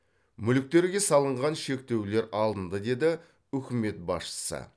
мүліктерге салынған шектеулер алынды деді үкімет басшысы